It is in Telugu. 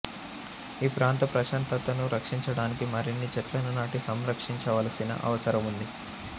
ఈ ప్రాంత ప్రశాంతతను రక్షించడానికి మరిన్ని చెట్లను నాటి సంరక్షించవలసిన అవసరం ఉంది